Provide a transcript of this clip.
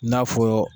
N'a fɔ